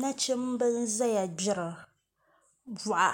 Nachimbi n ʒɛya gbiri boɣa